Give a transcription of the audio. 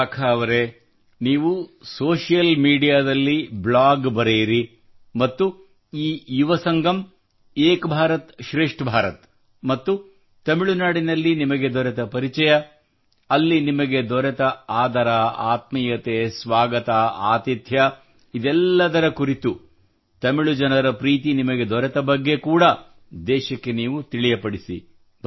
ವಿಶಾಖಾ ಅವರೇ ನೀವು ಸೋಷಿಯಲ್ ಮೀಡಿಯಾದಲ್ಲಿ ಬ್ಲಾಗ್ ಬರೆಯಿರಿ ಮತ್ತು ಈ ಯುವ ಸಂಗಮ್ ಏಕ್ ಭಾರತ್ ಶ್ರೇಷ್ಠ್ ಭಾರತ್ ಮತ್ತು ತಮಿಳುನಾಡಿನಲ್ಲಿ ನಿಮಗೆ ದೊರೆತ ಪರಿಚಯ ಅಲ್ಲಿ ನಿಮಗೆ ದೊರೆತ ಆದರ ಆತ್ಮೀಯತೆ ಸ್ವಾಗತ ಆತಿಥ್ಯ ತಮಿಳು ಜನರ ಪ್ರೀತಿ ನಿಮಗೆ ದೊರೆತ ಬಗ್ಗೆ ಕೂಡಾ ದೇಶಕ್ಕೆ ನೀವು ತಿಳಿಯಪಡಿಸಿ